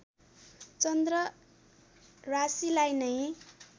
चन्द्र राशिलाई नै